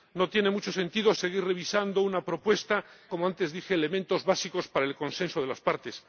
no tiene mucho sentido seguir revisando una propuesta que contiene ya —como antes dije— elementos básicos para el consenso de las partes.